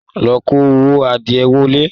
Lọ kó àwọn adìẹ wọlé?